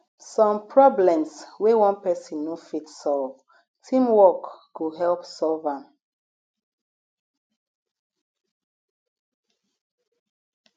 some problems wey one person no fit solve teamwork go help solve am